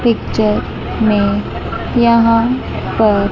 picture में यहां पर--